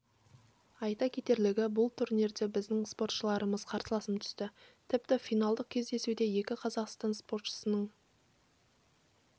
айта кетерлігі бұл турнирде біздің спортшыларымыз қарсыластарынан айқын басым түсті тіпті финалдық кездесуде екі қазақстан спортшысының